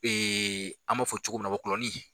an b'a fɔ cogo min na wɔkulɔnin.